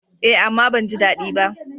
Eh, amma ban ji daɗi ba.